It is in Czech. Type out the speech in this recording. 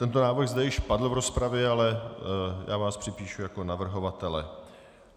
Tento návrh zde již padl v rozpravě, ale já vás připíšu jako navrhovatele.